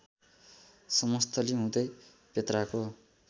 समस्थली हुँदै पेत्राको